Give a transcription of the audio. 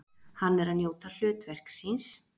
Hann er að njóta hlutverks síns.